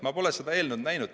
Ma pole seda eelnõu näinud.